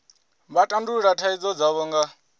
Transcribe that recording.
vha tandulula thaidzo dzavho nga